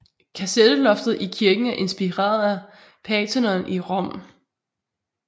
Kasetteloftet i kirken er inspireret af Pantheon i Rom